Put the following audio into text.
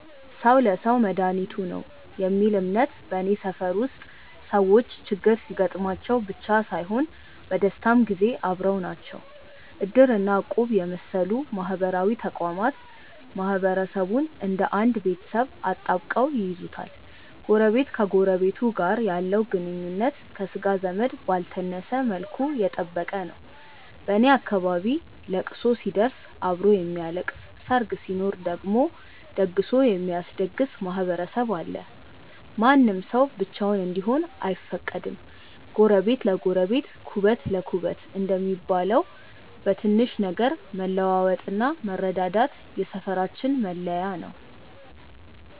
"ሰው ለሰው መድኃኒቱ ነው" የሚል እምነት በኔ ሰፈር ውስጥ ሰዎች ችግር ሲገጥማቸው ብቻ ሳይሆን በደስታም ጊዜ አብረው ናቸው። እድር እና እቁብ የመሰሉ ማህበራዊ ተቋማት ማህበረሰቡን እንደ አንድ ቤተሰብ አጣብቀው ይይዙታል። ጎረቤት ከጎረቤቱ ጋር ያለው ግንኙነት ከሥጋ ዘመድ ባልተነሰ መልኩ የጠበቀ ነው። በኔ አካባቢ ለቅሶ ሲደርስ አብሮ የሚያለቅስ፣ ሰርግ ሲኖር ደግሞ ደግሶ የሚያስደግስ ማህበረሰብ አለ። ማንም ሰው ብቻውን እንዲሆን አይፈቀድም። "ጎረቤት ለጎረቤት ኩበት ለኩበት" እንደሚባለው፣ በትንሽ ነገር መለዋወጥና መረዳዳት የሰፈራችን መለያ ነው።